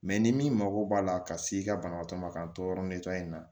ni min mago b'a la ka s'i ka banabaatɔ ma ka ntɔɔrɔ in na